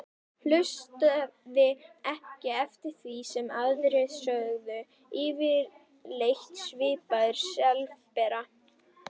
Hlustaði ekki eftir því sem aðrir sögðu, fyrirleit þvaður, slefbera.